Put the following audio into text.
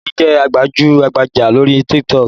Bolaji jẹ́ gbajú-gbajà lórí TikTok